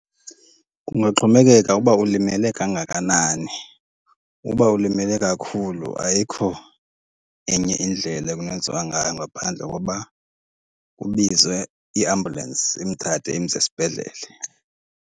Kungaxhomekeka uba ulimele kangakanani. Uba ulimele kakhulu ayikho enye indlela ekungenziwa ngayo ngaphandle koba kubizwe i-ambulance imthathe imse esibhedlele.